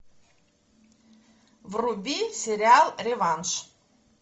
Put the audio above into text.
вруби сериал реванш